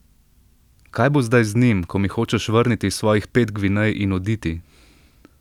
Kaj bo zdaj z njim, ko mi hočeš vrniti svojih pet gvinej in oditi?